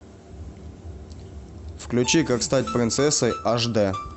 включи как стать принцессой аш д